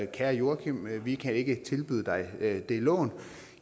kære joachim vi kan ikke tilbyde dig det lån